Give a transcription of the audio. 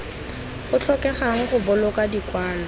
go tlhokegang go boloka dikwalo